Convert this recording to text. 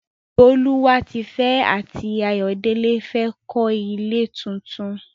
Bólúwatifẹ́ àti Ayọ̀délé fẹ́ kọ́ ilé tuntun.